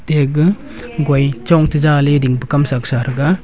ate ga goi chong tai za ley ding pu kam sak sa thangnga.